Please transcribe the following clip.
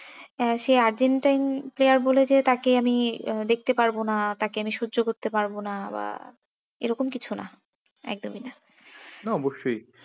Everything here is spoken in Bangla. হ্যাঁ সে আর্জেন্টাইন player বলে যে তাকে আমি আহ দেখতে পারব না তাকে আমি সহ্য করতে পারব না বা এরকম কিছু না একদমই না সে অবশ্যই